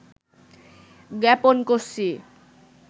জ্ঞাপন করছি